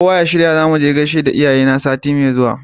Kowa ya shirya zamuje gaishe da iyaye na sati me zuwa